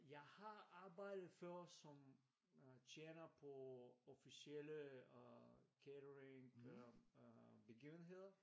Jeg har arbejdet før som øh tjener på officielle øh catering øh begivenheder